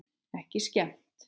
Ekki skemmt.